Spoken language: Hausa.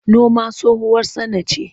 Noma tsohuwar sana'ce.